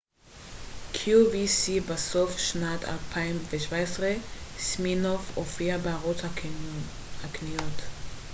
בסוף שנת 2017 סימינוף הופיע בערוץ הקניות qvc